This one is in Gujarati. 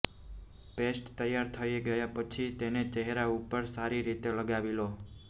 પેસ્ટ તૈયાર થઇ ગયા પછી તેને ચહેરા ઉપર સારી રીતે લગાવી લો